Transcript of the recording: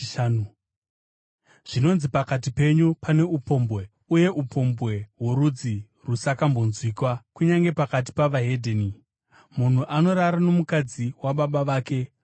Zvinonzi pakati penyu pane upombwe, uye upombwe hworudzi rusakambonzwikwa kunyange pakati pavahedheni: Munhu anorara nomukadzi wababa vake.